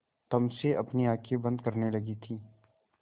तम से अपनी आँखें बंद करने लगी थी